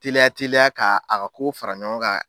Teliya teliya k'a ka ko fara ɲɔgɔn kan